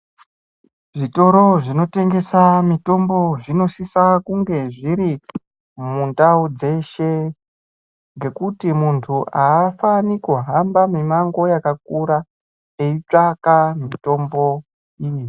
Zvitoro zvinotengesa mitombo zvinosisa kunge zviri mundau dzeshe ngekuti muntu aafaniri kuhamba mimango yakakura eitsvaka mitombo iyi.